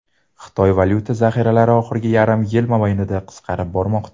Xitoy valyuta zaxiralari oxirgi yarim yil mobaynida qisqarib bormoqda.